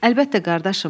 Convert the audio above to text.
Əlbəttə, qardaşım.